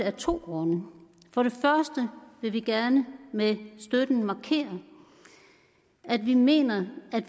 af to grunde for det første vil vi gerne med støtten markere at vi mener at